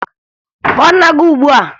Kpọọ nna gị ugbua!